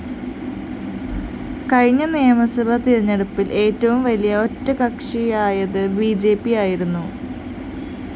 കഴിഞ്ഞ നിയമസഭാ തെരഞ്ഞെടുപ്പില്‍ ഏറ്റവും വലിയ ഒറ്റക്കക്ഷിയായത് ബിജെപിയായിരുന്നു